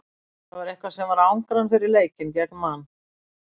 Það var eitthvað sem var að angra hann fyrir leikinn gegn Man.